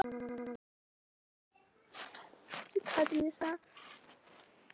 Bríana, læstu útidyrunum.